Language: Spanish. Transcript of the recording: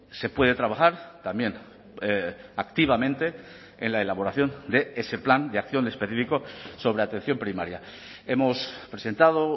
se puede trabajar también activamente en la elaboración de ese plan de acción específico sobre atención primaria hemos presentado